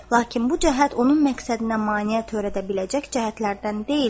Lakin bu cəhət onun məqsədinə maneə törədə biləcək cəhətlərdən deyildi.